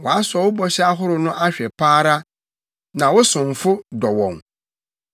Wɔasɔ wo bɔhyɛ ahorow no ahwɛ pa ara, na wo somfo dɔ wɔn.